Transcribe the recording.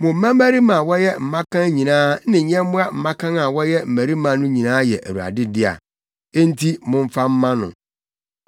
mo mmabarima a wɔyɛ mmakan nyinaa ne nyɛmmoa mmakan a wɔyɛ mmarima no nyinaa yɛ Awurade dea. Enti momfa mma no.